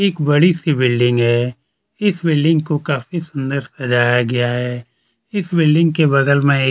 एक बड़ी सी बिल्डिंग है इस बिल्डिंग को काफी सुंदर सजाया गया है इस बिल्डिंग के बगल में एक --